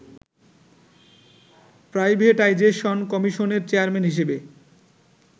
privatisation কমিশনের chairman হিসাবে